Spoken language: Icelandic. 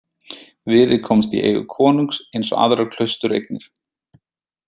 Viðey komst í eigu konungs eins og aðrar klaustureignir.